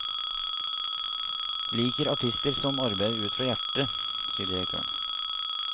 Liker artister som arbeider ut fra hjertet, sier direktøren.